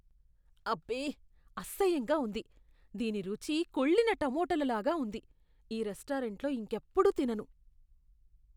అబ్బే! అసహ్యంగా ఉంది! దీని రుచి కుళ్ళిన టొమాటోల లాగా ఉంది, ఈ రెస్టారెంట్లో ఇంకెప్పుడూ తినను.